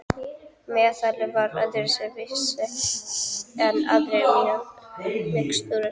Meðalið var öðru vísi en aðrar mixtúrur.